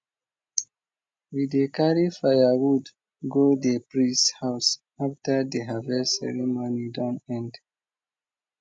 we dey carry firewood go di priest house after di harvest ceremony don end